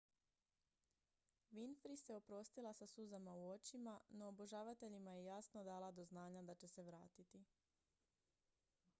winfrey se oprostila sa suzama u očima no obožavateljima je jasno dala do znanja da će se vratiti